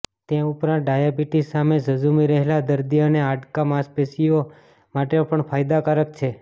તે ઉપરાંત ડાયાબીટીસ સામે ઝઝૂમી રહેલા દર્દી અને હાડકા માંસપેશીઓ માટે પણ ફાયદાકારક છે